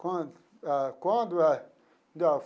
Quando ah quando eh?